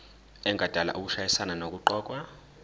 engadala ukushayisana nokuqokwa